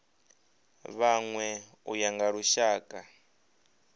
vhanwe u ya nga lushaka